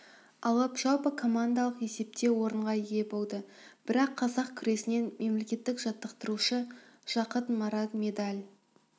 алып жалпы командалық есепте орынға ие болды бірақ қазақ күресінен мемлекеттік жаттықтырушы жақыт марат медаль